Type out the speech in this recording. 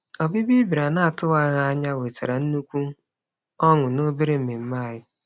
Ọbịbịa ị bịara n'atụwaghị anya wetara nnukwu ọṅụ n'obere mmemme anyị.